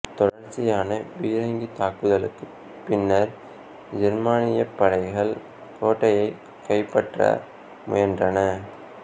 தொடர்ச்சியான பீரங்கித் தாக்குதலுக்குப் பின்னர் ஜெர்மானியப் படைகள் கோட்டையைக் கைப்பற்ற முயன்றன